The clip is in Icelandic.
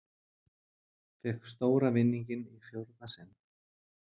Fékk stóra vinninginn í fjórða sinn